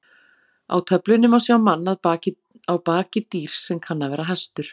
Á töflunni má sjá mann á baki dýrs sem kann að vera hestur.